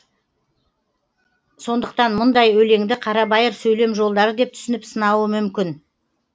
сондықтан мұндай өлеңді қарабайыр сөйлем жолдары деп түсініп сынауы мүмкін